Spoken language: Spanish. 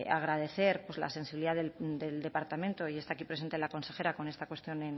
agradecer la sensibilidad del departamento y está aquí presente la consejera con esta cuestión